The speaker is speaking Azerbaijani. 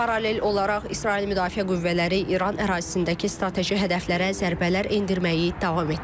Paralel olaraq İsrail müdafiə qüvvələri İran ərazisindəki strateji hədəflərə zərbələr endirməyi davam etdirir.